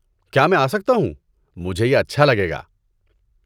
کیا میں آسکتا ہوں؟ مجھے یہ اچھا لگے گا۔